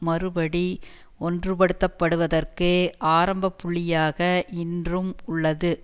மறுபடி ஒன்றுபடுத்தப்படுவதற்கு ஆரம்பப்புள்ளியாக இன்றும் உள்ளது